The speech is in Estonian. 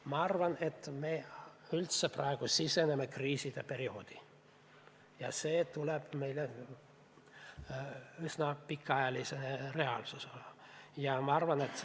Ma arvan, et me praegu siseneme kriiside perioodi ja see seisab meil ees üsna pikaajalise reaalsusena.